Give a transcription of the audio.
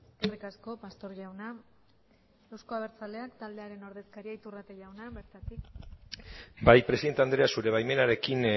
eskerrik asko pastor jauna euzko abertzaleak taldearen ordezkaria iturrate jauna bertatik bai presidente andrea zure baimenarekin